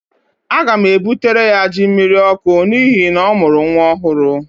Aga m ebutere ya jí mmiriọkụ n'ihi na ọ mụrụ nwa ọhụrụ